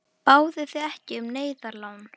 Báðuð þið ekki um neyðarlán?